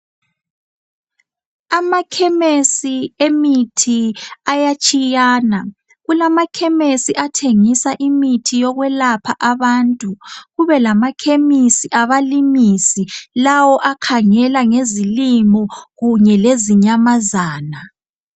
Amakhemisi emithi ayatshiyana. Kulamakhemesi athengisa imithi yokwelapha abantu. Kubelamakhemisi abalimisi lawo akhangela ngezilimo kunye lezinyamazana.